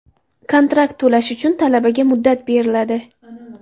Kontrakt to‘lash uchun talabaga muddat beriladi.